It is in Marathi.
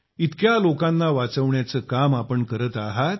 इतक्या लोकांना वाचवण्याचे काम करत आहात